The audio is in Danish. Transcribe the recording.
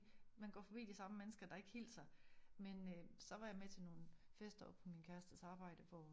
Man går forbi de samme mennesker der ikke hilser men øh så var jeg med til nogle fester på min kærestes arbejde hvor